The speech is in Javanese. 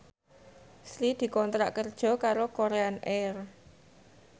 Sri dikontrak kerja karo Korean Air